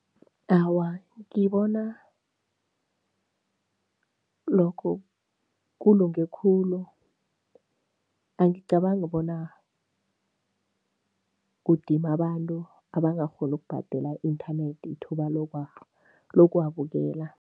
Awa, ngibona lokho kulunge khulu. Angicabangi bona kudima abantu abangakghoni ukubhadela i-inthanethi ithuba lokuwabukela.